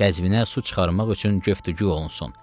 Qəzvinə su çıxarmaq üçün göftügü olunsun